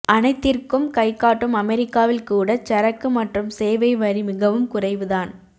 அனைத்திற்கும் கைகாட்டும் அமெரிக்காவில் கூடச் சரக்கு மற்றும் சேவை வரி மிகவும் குறைவுதான்